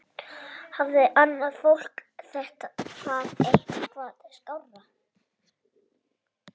Hafði annað fólk það eitthvað skárra?